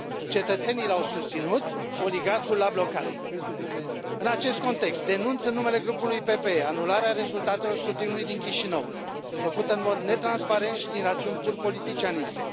Cetățenii l au susținut, oligarhul l a blocat. În acest context, denunț, în numele grupului PPE, anularea rezultatelor scrutinului din Chișinău, făcută în mod netransparent și din rațiuni pur politicianiste.